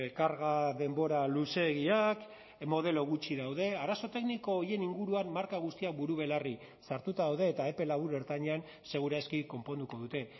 karga denbora luzeegiak modelo gutxi daude arazo tekniko horien inguruan marka guztiak buru belarri sartuta daude eta epe labur ertainean segur aski konponduko dute